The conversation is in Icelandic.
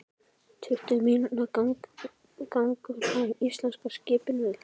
Tuttugu mínútna gangur að íslenska skipinu.